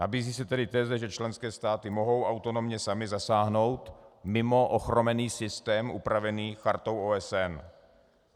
Nabízí se tedy teze, že členské státy mohou autonomně samy zasáhnout mimo ochromený systém upravený Chartou OSN.